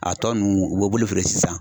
A tɔ ninnu u b'o b'olu feere sisan